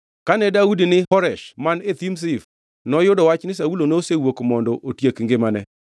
Kane Daudi ni Horesh man e thim Zif noyudo wach ni Saulo nosewuok mondo otiek ngimane.